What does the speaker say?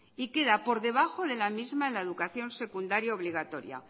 y queda por debajo de la misma en la educación secundaria obligatoria